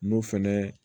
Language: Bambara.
N'o fɛnɛ